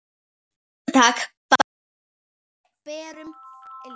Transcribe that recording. Fótatak barst frá berum iljum.